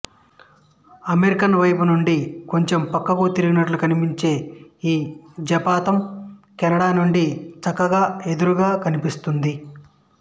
American వైపునుండి కొంచం ప్రక్కకు తిరిగినట్లు కనిపించే ఈ జపాతం కెనడా నుండి చక్కగా ఎదురుగా కనిపిస్తుంది